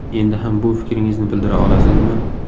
Endi ham bu fikringizni bildira olasizmi?